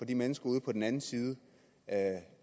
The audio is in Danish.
de mennesker ude på den anden side